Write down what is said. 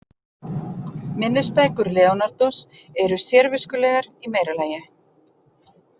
Minnisbækur Leonardós eru sérviskulegar í meira lagi.